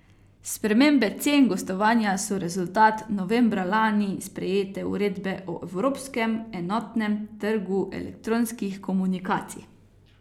Spremembe cen gostovanja so rezultat novembra lani sprejete uredbe o evropskem enotnem trgu elektronskih komunikacij.